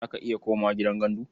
Za ka iya komawa gidan gandu?